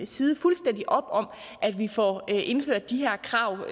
side fuldstændig op om at vi får indført de her krav